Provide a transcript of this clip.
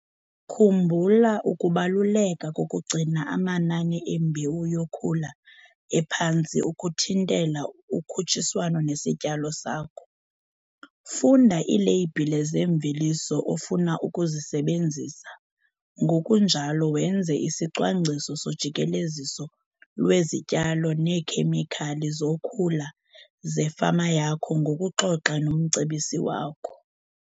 Khumbula ukubaluleka kokugcina amanani embewu yokhula ephantsi ukuthintela ukhutshiswano nesityalo sakho. Funda iileyibhile zeemveliso ofuna ukuzisebenzisa ngokunjalo wenze isicwangciso sojikeleziso lwezityalo neekhemikhali zokhula zefama yakho ngokuxoxa nomcebisi wakho.